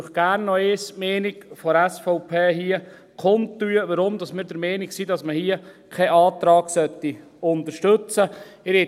Und ich tue Ihnen gerne hier noch einmal die Meinung der SVP kund, weshalb wir der Meinung sind, dass man hier keinen Antrag unterstützen sollte.